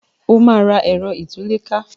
o ma rà Ẹ̀rọ ìtúlẹ̀ká!